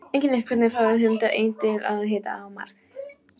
Einkennilegt hvernig fráleitustu hugmyndir eiga til að hitta í mark.